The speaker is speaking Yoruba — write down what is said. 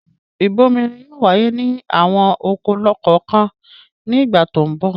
Ìbomirin yóò wáyé ní àwọn oko kọ̀ọ̀kan ní ìgbà tó ń bọ̀.